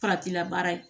Faratila baara ye